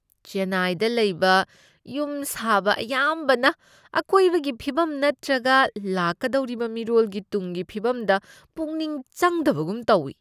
ꯆꯦꯟꯅꯥꯏꯗ ꯂꯩꯕ ꯌꯨꯝ ꯁꯥꯕ ꯑꯌꯥꯝꯕꯅ ꯑꯀꯣꯏꯕꯒꯤ ꯐꯤꯚꯝ ꯅꯠꯇ꯭ꯔꯒ ꯂꯥꯛꯀꯗꯧꯔꯤꯕ ꯃꯤꯔꯣꯜꯒꯤ ꯇꯨꯡꯒꯤ ꯐꯤꯕꯝꯗ ꯄꯨꯛꯅꯤꯡ ꯆꯪꯗꯕꯒꯨꯝ ꯇꯧꯢ ꯫